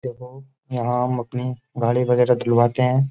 देखो यहाँ हम अपनी गाड़ी वगैरह दुलवाते हैं।